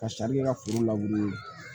Ka sari kɛ ka foro labure